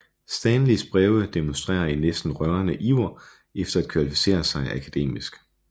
Stanleys breve demonstrerer en næsten rørende iver efter at kvalificere sig akademisk